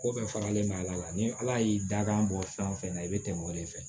Ko bɛɛ faralen ma ala la ni ala y'i da kan bɔ fɛn o fɛn na i bɛ tɛmɛ o de fɛ